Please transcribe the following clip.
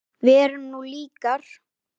Við erum nú líkar!